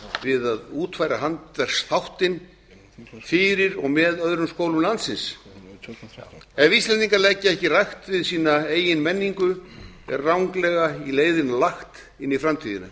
við að útfæra handverksþáttinn fyrir og með öðrum skólum landsins ef íslendingar leggja ekki rækt við sína eigin menningu er ranglega í leiðina lagt inn í framtíðina